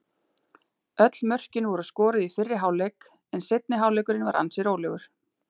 Öll mörkin voru skoruð í fyrri hálfleik en seinni hálfleikurinn var ansi rólegur.